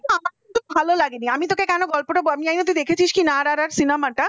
জানিস তো আমার ভালো লাইনে আমি তোকে বলছি যে আমার গল্পটা আমি জানিনা তুই দেখেছিস কিনা আর আর আর cinema টা